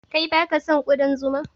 Kai baka son ƙudan zuma?